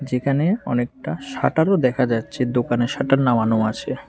এখানে অনেকটা শাটারও দেখা যাচ্ছে দোকানের শাটার নামানো আছে।